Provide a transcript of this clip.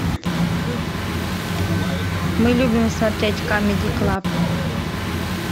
мы любим смотреть камеди клаб